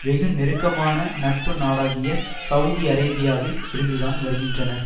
வெகு நெருக்கமான நட்பு நாடாகிய செளதி அரேபியாவில் இருந்து தான் வருகின்றனர்